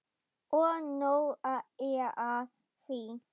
Og nóg er af því.